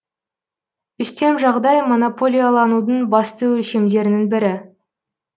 үстем жағдай монополияланудың басты өлшемдерінің бірі